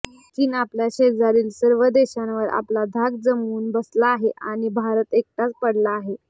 चीन आपल्या शेजारील सर्व देशांवर आपला धाक जमवून बसला आहे आणि भारत एकटाच पडला आहे